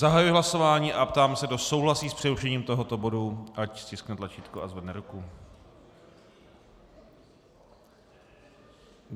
Zahajuji hlasování a ptám se, kdo souhlasí s přerušením tohoto bodu, ať stiskne tlačítko a zvedne ruku.